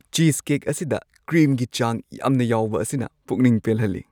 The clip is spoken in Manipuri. ꯆꯤꯁꯀꯦꯛ ꯑꯁꯤꯗ ꯀ꯭ꯔꯤꯝꯒꯤ ꯆꯥꯡ ꯌꯥꯝꯅ ꯌꯥꯎꯕ ꯑꯁꯤꯅ ꯄꯨꯛꯅꯤꯡ ꯄꯦꯜꯍꯜꯂꯤ ꯫